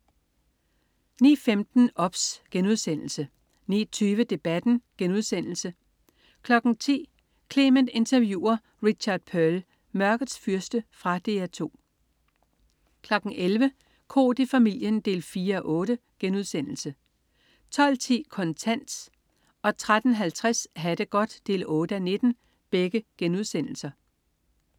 09.15 OBS* 09.20 Debatten* 10.00 Clement interviewer Richard Perle. "Mørkets Fyrste". Fra DR 2 11.00 Koht i familien 4:8* 12.10 Kontant* 13.50 Ha' det godt 8:19*